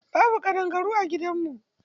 Babu ƙadangaru a gidan mu.